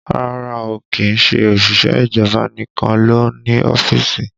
Rárá o, kìí ṣe òṣìṣẹ́ ìjọba nìkan ló ń ní ọ́fíìsì